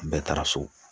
Bɛɛ taara so